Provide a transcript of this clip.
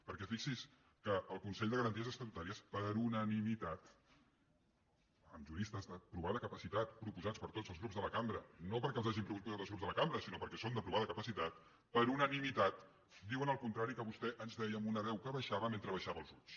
perquè fixi’s que el consell de garanties estatutàries per unanimitat amb juristes de provada capacitat proposats per tots els grups de la cambra no perquè els hagin proposat els grups de la cambra sinó perquè són de provada capacitat per unanimitat diuen el contrari que vostè ens deia amb una veu que baixava mentre abaixava els ulls